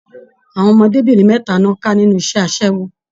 Àwọn ọmọdébinrin mẹta ni wọn ká nínú iṣẹ asẹwo.